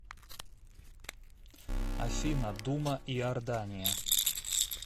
афина дума иордания